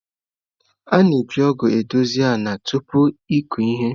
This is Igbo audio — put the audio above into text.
A na-eji ọgụ na-edozi ala tupu ịkụ ihe.